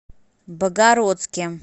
богородске